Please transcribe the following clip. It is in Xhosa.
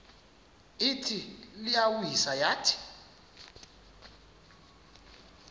ithi iyawisa yathi